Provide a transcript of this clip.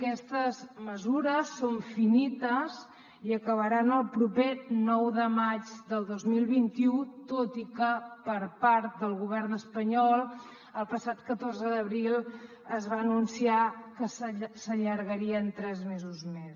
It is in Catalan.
aquestes mesures són finites i acabaran el proper nou de maig del dos mil vint u tot i que per part del govern espanyol el passat catorze d’abril es va anunciar que s’allargarien tres mesos més